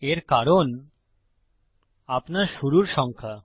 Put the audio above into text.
এর কারণ আপনার শুরুর সংখ্যা